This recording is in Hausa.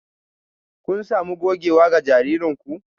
Kun sami gogewa ga jaririn ku?